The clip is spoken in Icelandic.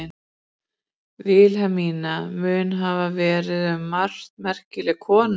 Vilhelmína mun hafa verið um margt merkileg kona.